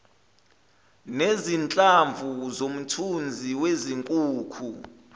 nezinhlamvu zomthunzi wezinkukhu